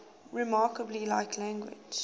remarkably like language